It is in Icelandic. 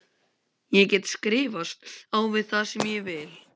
Ég get skrifast á við þá sem ég vil.